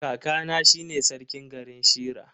Kakana shine sarkin garin Shira.